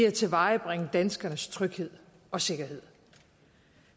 at tilvejebringe danskernes tryghed og sikkerhed